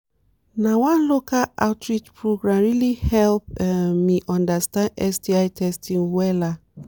na one local outreach program really help um me understand sti testing wella